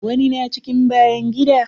Wani na cikin bayan gida.